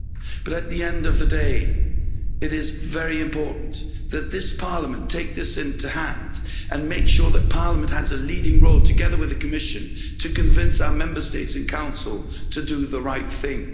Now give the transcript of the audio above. But at the end of the day it is very important that this Parliament take this in hand and make sure that Parliament has a leading role, together with the Commission, to convince our Member States and Council to do the right thing.